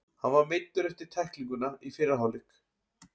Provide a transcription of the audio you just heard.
Hann var meiddur eftir tæklinguna í fyrri hálfleiknum.